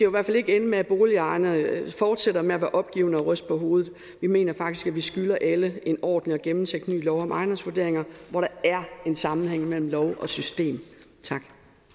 i hvert fald ikke ende med at boligejerne fortsætter med at være opgivende og ryste på hovedet vi mener faktisk at vi skylder alle en ordentligt gennemtænkt ny lov om ejendomsvurderinger hvor der er en sammenhæng mellem lov og system tak